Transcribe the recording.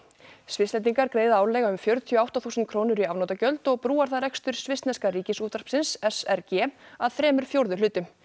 Svisslendingar greiða árlega um fjörutíu og átta þúsund krónur í afnotagjöld og brúar það rekstur svissneska Ríkisútvarpsins s r g að þremur fjórðu hlutum